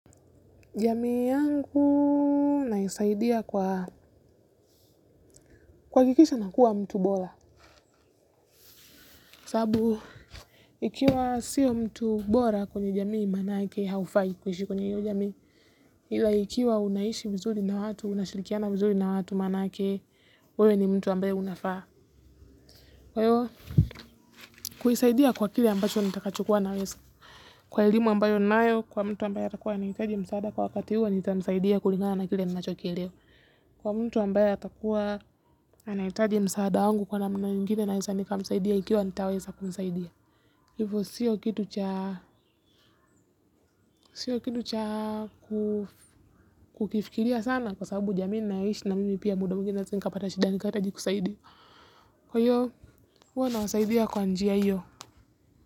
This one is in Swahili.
Jamii yangu naisaidia kwa kuhakikisha nakuwa mtu bora. Sababu, ikiwa sio mtu bora kwenye jamii maanake haufai kuishi kwenye hiyo jamii ila ikiwa unaishi vizuri na watu, unashirikiana vizuri na watu maanake, wewe ni mtu ambaye unafaa. Kwa hivyo kuisaidia kwa kile ambacho nitakachokuwa naweza. Kwa elimu ambayo ninayo, kwa mtu ambaye atakuwa anahitaji msaada kwa wakati huo, nitamsaidia kulingana na kile ninachokielewa kwa mtu ambaya atakuwa anahitaji msaada wangu kwa namna ingine naweza nikamsaidia ikiwa nitaweza kumsaidia hivyo sio kitu cha sio kitu cha kukifikiria sana kwa sababu jamii ninayoishi na mimi pia muda mwingine naweza nikapata shida nikahitaji kusaidiwa kwa hiyo huwa nawasaidia kwa njia hiyo.